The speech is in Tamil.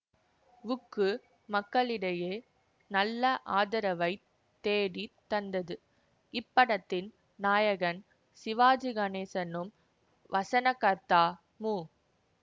வுக்கு மக்களிடையே நல்ல ஆதரவை தேடி தந்தது இப்படத்தின் நாயகன் சிவாஜி கணேசனும் வசனகர்த்தா மு